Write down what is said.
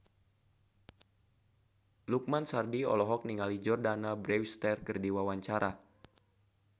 Lukman Sardi olohok ningali Jordana Brewster keur diwawancara